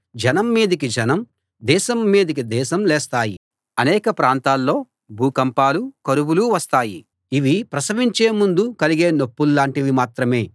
జనం మీదికి జనం దేశం మీదికి దేశం లేస్తాయి అనేక ప్రాంతాల్లో భూకంపాలు కరువులు వస్తాయి ఇవి ప్రసవించే ముందు కలిగే నొప్పుల్లాంటివి మాత్రమే